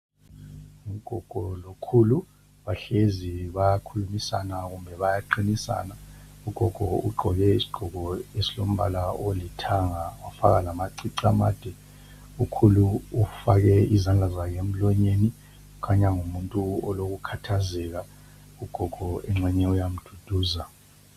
Ugogo lokhulu bahlezi bayakhulumisana, kumbe bayaqinisana ugogo ugqoke isigqoko esilombala olithanga wafaka lamacici amade, ukhulu ufake izandla zakhe emlonyeni ukhanya ngumuntu olokukhathazeka ugogo engxenye uyamduduza.